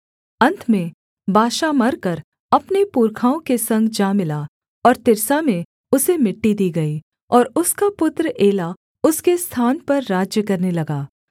अन्त में बाशा मरकर अपने पुरखाओं के संग जा मिला और तिर्सा में उसे मिट्टी दी गई और उसका पुत्र एला उसके स्थान पर राज्य करने लगा